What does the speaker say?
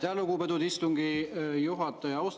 Aitäh, lugupeetud istungi juhataja!